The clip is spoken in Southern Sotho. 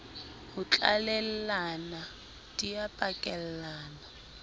ho tlalellana di a pakellana